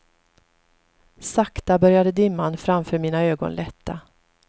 Sakta började dimman framför mina ögon lätta.